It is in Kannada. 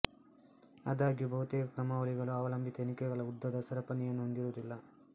ಆದಾಗ್ಯೂ ಬಹುತೇಕ ಕ್ರಮಾವಳಿಗಳು ಅವಲಂಬಿತ ಎಣಿಕೆಗಳ ಉದ್ದದ ಸರಪಣಿಯನ್ನು ಹೊಂದಿರುವುದಿಲ್ಲ